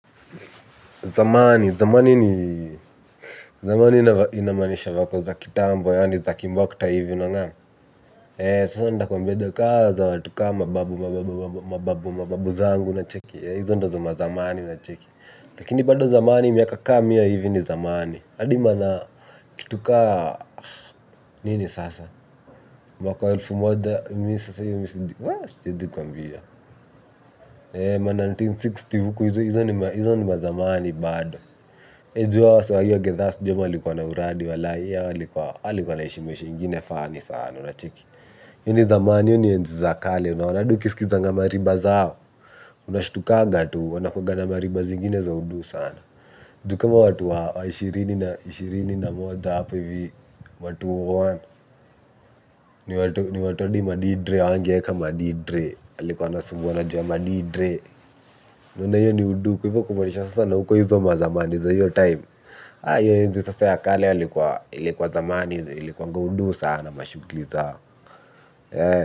Zamani. Zamani inamaanisha vako za kitambo, yaani za kimbokta hivyo unaona. Sasa nda kwambia ka za watu ka mababu, mababu, mababu zangu unacheki. Hizo ndo za mazamani unacheki. Lakini bado zamani miaka ka mia hivi ni zamani. Adi mana kitu kaa nini sasa? Elfu moja ma elfu moja na mia tisa na sitini huko hizo ni mazamani bado. Unajua saa iyo githaa sijui ama walikua na uradi hao walikua wanaishi maisha ingine funny sana unacheki Yeni zamani iyo ni enzi za kale, unaona adi ukisikizanga mariba zao. Unashtukaga tu, wanakuwaga na mariba zingine za udu sana. Ju kama watu hao, ishirini na moja hapo hivi, wa elfu mbili na moja. Ni watu adi madidre, angeeka madidre. Alikuwa na sumuwa na jama madidre. Unaona iyo ni udu kwa hivyo kumanisha sana uko hizo mazamani za iyo time. Ayo enzi sasa ya kale hili kwa zamani hili kwa nga udu sana namashgli zao haa.